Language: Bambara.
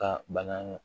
Ka bana